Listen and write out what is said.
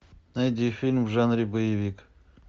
найди фильм в жанре боевик